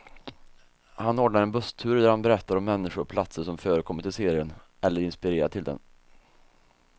Han ordnar en busstur där han berättar om människor och platser som förekommit i serien, eller inspirerat till den.